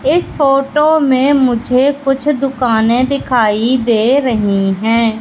इस फोटो में मुझे कुछ दुकाने दिखाई दे रही है।